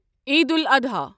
Eid al-Adha